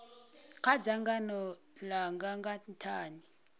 kha dzangano langa nga nthani